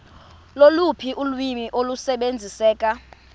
loluphi ulwimi olusebenziseka